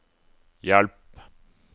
hjelp